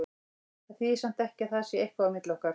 Það þýðir samt ekki að það sé eitthvað á milli okkar.